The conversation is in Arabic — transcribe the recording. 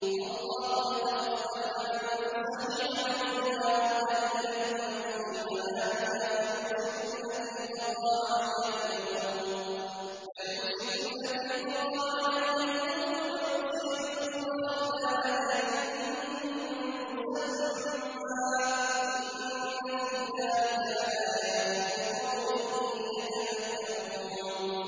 اللَّهُ يَتَوَفَّى الْأَنفُسَ حِينَ مَوْتِهَا وَالَّتِي لَمْ تَمُتْ فِي مَنَامِهَا ۖ فَيُمْسِكُ الَّتِي قَضَىٰ عَلَيْهَا الْمَوْتَ وَيُرْسِلُ الْأُخْرَىٰ إِلَىٰ أَجَلٍ مُّسَمًّى ۚ إِنَّ فِي ذَٰلِكَ لَآيَاتٍ لِّقَوْمٍ يَتَفَكَّرُونَ